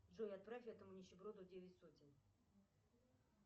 джой отправь этому нищеброду девять сотен